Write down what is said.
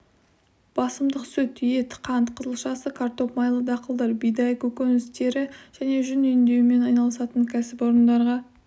басымдық сүт ет қант қызылшасы картоп майлы дақылдар бидай көкөніс тері және жүн өңдеумен айналысатын кәсіпорындарға